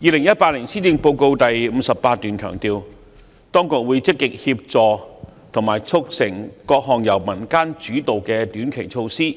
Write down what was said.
2018年施政報告第58段強調，當局會積極協助和促成各項由民間主導的短期措施，